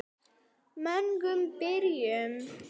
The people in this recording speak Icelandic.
Mögnuð byrjun.